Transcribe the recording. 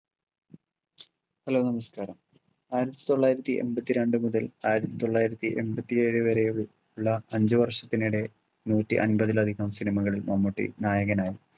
hello നമസ്കാരം ആയിരത്തിത്തൊള്ളായിരത്തി എൺപത്തിരണ്ടു മുതൽ ആയിരത്തിത്തൊള്ളായിരത്തി എൺപത്തിഏഴു വരെ ഉള്ള അഞ്ചു വർഷത്തിനിടെ നൂറ്റി അമ്പതിലധികം cinema കളിൽ മമ്മൂട്ടി നായകനായി